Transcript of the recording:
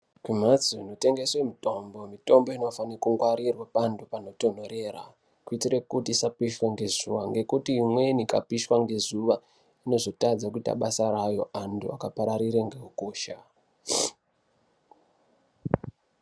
Kumhatso inotengeswe mitombo, mitombo inofane kungwarirwa pantu panotondorera kuitire kuti isapishwe ngezuwa ngekuti imweni ikapishwa ngezuwa inozotadza kuita basa rayo antu akapararira ngehukosha .